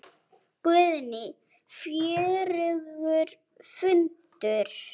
Guðný: Fjörugur fundur?